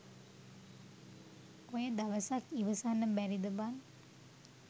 ඔය දවසක් ඉවසන්න බැරිද බන්?